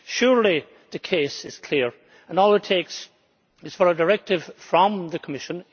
Surely the case is clear, and all it takes is for a directive from the Commission.